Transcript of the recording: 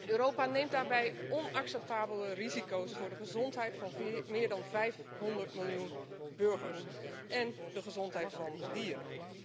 Europa neemt daarbij onacceptabele risico's voor de gezondheid van meer dan 500 miljoen burgers en de gezondheid van dieren.